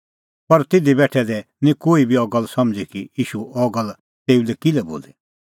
पर तिधी बेठै दै निं कोही बी अह गल्ल समझ़ी कि ईशू अह गल्ल तेऊ लै किल्है बोली